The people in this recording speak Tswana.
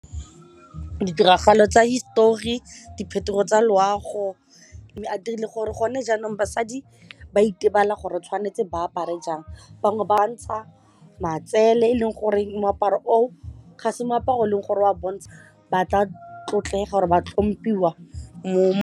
Ditiragalo tsa hisetori, diphetogo tsa loago mme a dirile gore gone jaanong basadi ba itebale gore tshwanetse ba apare jang bangwe ba ntsha matsele eleng gore moaparo o ga se meaparo e leng gore o a bontsha ba tla tlotlega ba tlhomphiwa mo.